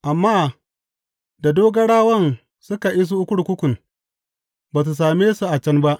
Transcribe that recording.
Amma da dogarawan suka iso kurkukun, ba su same su a can ba.